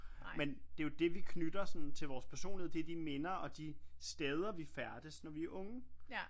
Men det er jo det vi knytter sådan til vores personlighed det er de minder og de steder vi færdes når vi er unge